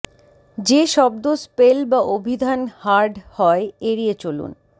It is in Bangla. যে শব্দ স্পেল বা অভিধান হার্ড হয় এড়িয়ে চলুন